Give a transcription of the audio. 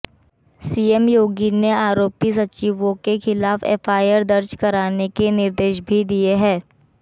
CM Yogi ने आरोपी सचिवों के खिलाफ एफआईआर दर्ज कराने के निर्देश भी दिए हैं